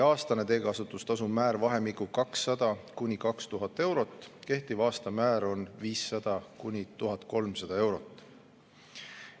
Aastane teekasutustasu määr jääb vahemikku 200–2000 eurot, kehtiv aastane määr on 500–1300 eurot.